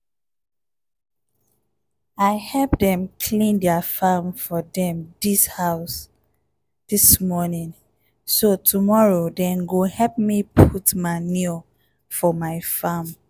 i help dem clean their farm for dem dis house this morning so tomorrow dem go help me put manure for my farm.